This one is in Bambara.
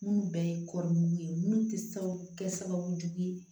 Minnu bɛɛ ye kɔɔri ye minnu tɛ se ka kɛ sababu ye